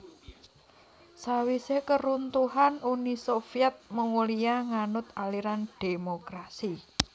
Sawisé karuntuhan Uni Soviet Mongolia nganut aliran dhémokrasi